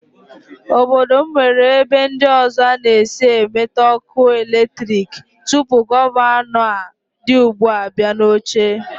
Obodo m nwere ebe ndị ọzọ a na-esi enweta ọkụ eletrik tupu gọvanọ a dị ugbu a abịa n'oche